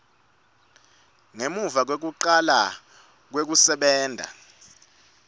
ngemuva kwekucala kwekusebenta